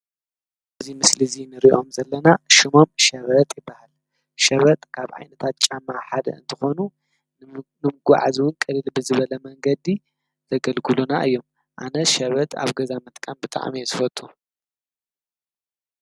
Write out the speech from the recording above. እዚ ምስሊ እዚ እንሪኦም ዘለና ሽሞም ሸበጥ ይበሃል፡፡ ሸበጥ ካብ ዓይነታት ጫማ ሓደ እንትኾኑ ንምጉዓዝ እውን ቅልል ብዝበለ መንገዲ ዘግልግሉና እዮም፡፡ ኣነ ሸበጥ ኣብ ገዛ ምጥቃም ብጣዕሚ እየ ዝፈቱ፡፡